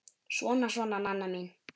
Svona, svona, Nanna mín.